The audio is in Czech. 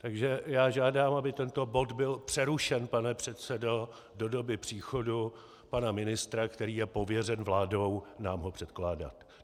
Takže já žádám, aby tento bod byl přerušen, pane předsedo, do doby příchodu pana ministra, který je pověřen vládou nám ho předkládat.